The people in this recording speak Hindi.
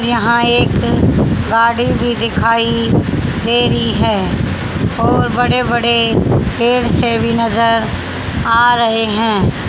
यहां एक गाड़ी भी दिखाई दे रही है और बड़े बड़े पेड़ से भी नजर आ रहे हैं।